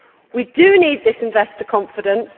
We do need this investor confidence.